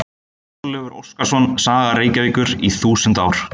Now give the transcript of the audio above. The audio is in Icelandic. Þorleifur Óskarsson: Saga Reykjavíkur í þúsund ár.